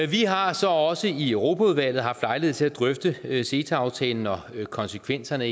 vi har så også i europaudvalget haft lejlighed til at drøfte ceta aftalen og konsekvenserne